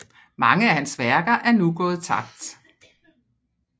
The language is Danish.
Mange af hans værker er nu gået tabt